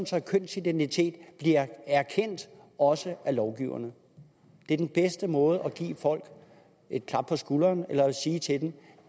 så kønsidentitet bliver erkendt også af lovgiverne det er den bedste måde at give folk et klap på skulderen på eller at sige til dem at